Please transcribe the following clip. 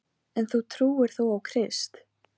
Nú var að koma sér aftur til Ægis og Fíu.